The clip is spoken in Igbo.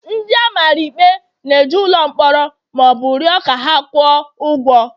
ndị a mara ikpe n' eje n'ụlọ mkpọrọ ma ọ bụ rịọ ka ha kwụọ ụgwọ